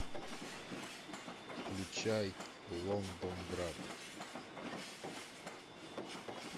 включай лондонград